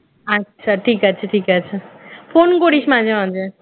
আচ্ছা ঠিক আছে ঠিক আছে phone করিস মাঝে মাঝে